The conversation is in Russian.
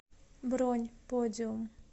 бронь подиум